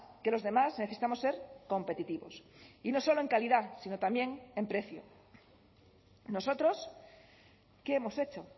que los demás necesitamos ser competitivos y no solo en calidad sino también en precio nosotros qué hemos hecho